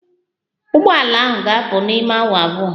Ụgbọ ala ahụ ga-apụ n'ime awa abụọ